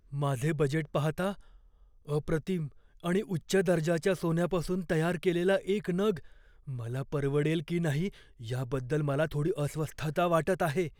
माझे बजेट पाहता, अप्रतिम आणि उच्च दर्जाच्या सोन्यापासून तयार केलेला एक नग मला परवडेल की नाही याबद्दल मला थोडी अस्वस्थता वाटत आहे.